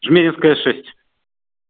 жмеринская шесть